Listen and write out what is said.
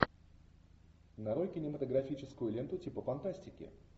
нарой кинематографическую ленту типа фантастики